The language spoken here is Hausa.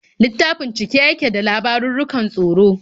Littafin cike yake da labarurrukan tsoro.